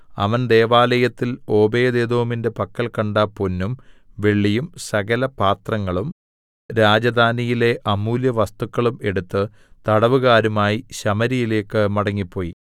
അവൻ ദൈവാലയത്തിൽ ഓബേദ്ഏദോമിന്റെ പക്കൽ കണ്ട പൊന്നും വെള്ളിയും സകലപാത്രങ്ങളും രാജധാനിയിലെ അമൂല്യ വസ്തുക്കളും എടുത്ത് തടവുകാരുമായി ശമര്യയിലേക്ക് മടങ്ങിപ്പോയി